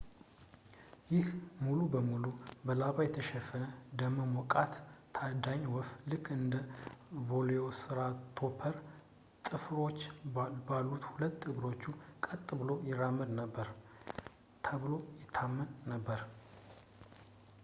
ይህ ሙሉ ለሙሉ በላባ የተሸፈነ ደመ ሞቃት ታዳኝ ወፍ ልክ እንደ velociraptor ጥፍሮች ባሉት ሁለት እግሮቹ ቀጥ ብሎ ይራመድ ነበር ተብሎ ይታመን ነበር